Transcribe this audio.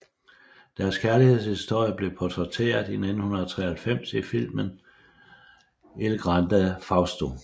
Deres kærlighedshistorie blev portrætteret i 1993 i filmen Il Grande Fausto